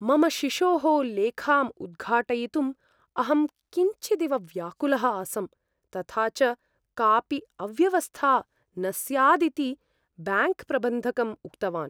मम शिशोः लेखाम् उद्घाटयितुं अहं किञ्चिदिव व्याकुलः आसम्, तथा च कापि अव्यवस्था न स्यादिति ब्याङ्क्प्रबन्धकम् उक्तवान्।